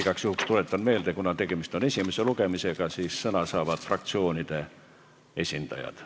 Igaks juhuks tuletan meelde, kuna tegemist on esimese lugemisega, siis sõna saavad fraktsioonide esindajad.